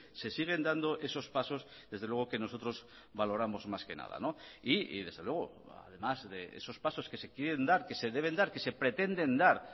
se siguen dando esos pasos desde luego que nosotros valoramos más que nada y desde luego además de esos pasos que se quieren dar que se deben dar que se pretenden dar